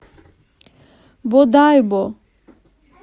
бодайбо